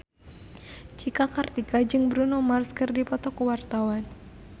Cika Kartika jeung Bruno Mars keur dipoto ku wartawan